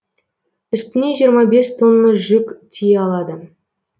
үстіне жиырма бес тонна жүк тие алады